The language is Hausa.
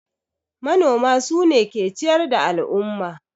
Manoma sune ke ciyar da al'umma